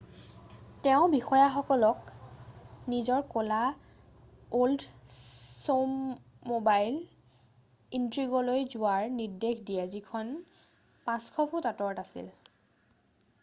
তেওঁ বিষয়াসকলক নিজৰ ক'লা অল্ডছম'বাইল ইণ্ট্ৰিগলৈ যোৱাৰ নিৰ্দেশ দিয়ে যিখন 500 ফুট আঁতৰত আছিল